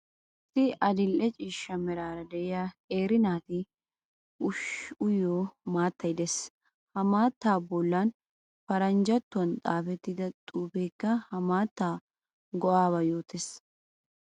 Issi adil"e ciishsha meraara de'iya qeeri naataa ushshiyo maattay de'ees. Ha maattaa bollan paranjjattuwan xaafettida xuufeekka ha maattaa go'aabaa yoottees.